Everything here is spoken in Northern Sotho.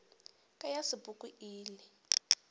ka ya sepoko e ile